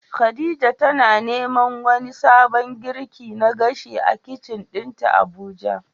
khadija tana neman wani sabon girki na gashi a kicin dinta Abuja.